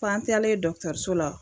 F'an talen dɔkitɛriso la